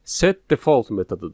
Set default metodudur.